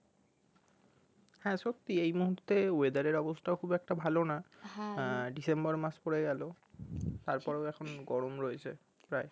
হ্যাঁ সত্যি এই মুহূর্তে weather এর অবস্থায় খুব একটা ভালো না আহ december মাস পরে গেল তারপরও এখন গরম রয়েছে প্রায়